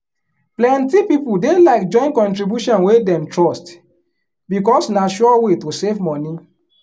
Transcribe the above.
plenty people dey like join contribution wey dem trust because na sure way to save money.